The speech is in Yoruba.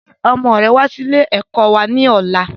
Gbe ọmọ rẹ wà sì ilé ẹ̀kọ́ wá ní ọ̀la!